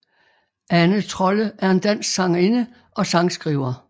Ane Trolle er en dansk sangerinde og sangskriver